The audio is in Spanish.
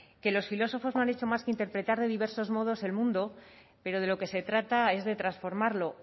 que los filósofos no han hecho más que interpretar de diversos modos el mundo pero de lo que se trata es de transformarlo